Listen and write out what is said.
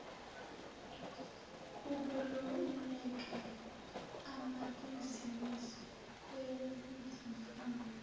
ukweluleka amabizinisi ngezimfuno